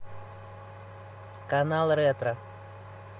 канал ретро